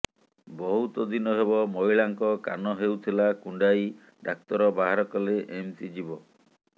ବହୁତ ଦିନ ହେବ ମହିଳାଙ୍କ କାନ ହେଉଥିଲା କୁଣ୍ଡାଇ ଡାକ୍ତର ବାହାର କଲେ ଏମିତି ଜୀବ